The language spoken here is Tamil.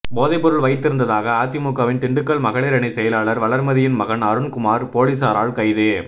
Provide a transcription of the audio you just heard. போதைப் பொருள் வைத்திருந்ததாக அதிமுகவின் திண்டுக்கல் மகளிர் அணி செயலாளர் வளர்மதியின் மகன் அருண் குமார் போலீசாரால் கைது